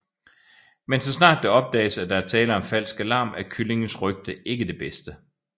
Men så snart det opdages at der er tale om falsk alarm er kyllingens rygte ikke det bedste